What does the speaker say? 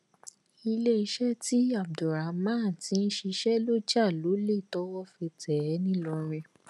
iléeṣẹ́ tí abdulrahman ti ń ṣiṣẹ ló jà lólè tọ́wọ́ fi tẹ̀ ẹ́ nílọrin